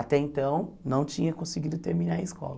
Até então, não tinha conseguido terminar a escola.